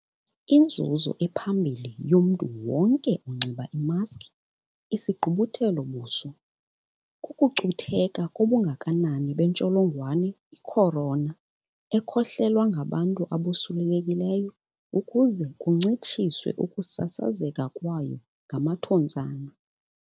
Inzuzo ephambili yomntu wonke onxiba imaski isigqubuthelo-buso kukucutheka kobungakanani bentsholongwane i-Corona, i-COVID-19, ekhohlelwa ngabantu abosulelekileyo ukuze kuncitshiswe ukusasazeka kwayo ngamathontsana.